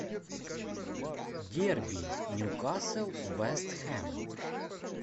дерби ньюкасл вест хэм